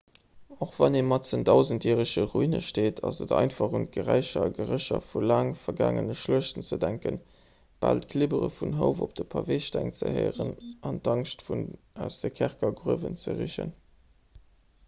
och wann ee matzen an dausendjärege ruine steet ass et einfach un d'geräicher a gerécher vu laang vergaangene schluechten ze denken bal d'klibbere vun houf op de paveesteng ze héieren an d'angscht aus de kerkergrouwen ze richen